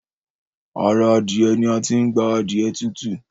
Ará Adiẹ ni a tí n gbà adiẹ tutu